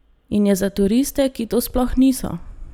In je za turiste, ki to sploh niso!